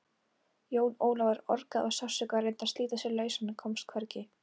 Jón Ólafur orgaði af sársauka og reyndi að slíta sig lausan en komst hvergi.